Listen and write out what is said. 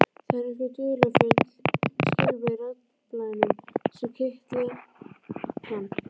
Það eru einhver dularfull skilaboð í raddblænum sem kitla hann.